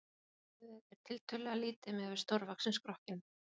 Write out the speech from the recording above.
Höfuðið er tiltölulega lítið miðað við stórvaxinn skrokkinn.